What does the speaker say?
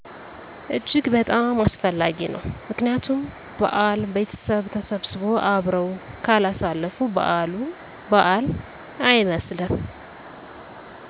እጅግ በጣም አስፈላጊ ነዉ ምክንያቱም በዓል ቤተሰብ ተሰብስቦ አብረው ካላሳለፉ በዓሉ በዓል አይመስልም